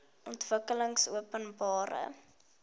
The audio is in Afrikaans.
ontwikkelingopenbare